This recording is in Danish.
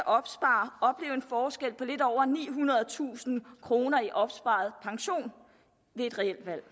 opsparer opleve en forskel på lidt over nihundredetusind kroner i opsparet pension ved et reelt valg